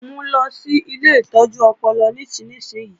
Mu lọ sí ilé ìtọ́jú ọpọlọ nísinsìnyí!